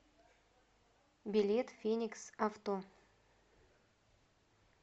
билет фениксавто